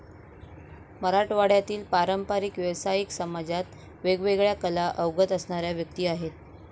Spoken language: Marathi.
मराठवाड्यातील पारंपरिक व्यावसायिक समाजात वेगवेगळ्या कला अवगत असणाऱ्या व्यक्ती आहेत.